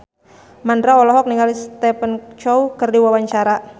Mandra olohok ningali Stephen Chow keur diwawancara